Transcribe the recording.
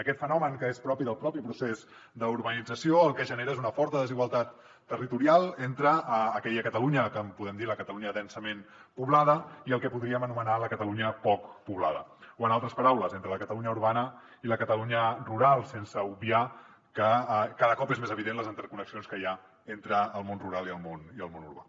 aquest fenomen que és propi del propi procés d’urbanització el que genera és una forta desigualtat territorial entre aquella catalunya que en podem dir la catalunya densament poblada i el que podríem anomenar la catalunya poc poblada o en altres paraules entre la catalunya urbana i la catalunya rural sense obviar que cada cop són més evidents les interconnexions que hi ha entre el món rural i el món urbà